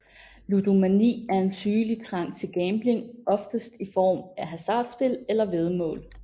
Ludomani er en sygelig trang til gambling oftest i form af hasardspil eller væddemål